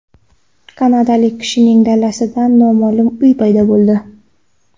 Kanadalik kishining dalasida noma’lum uy paydo bo‘ldi .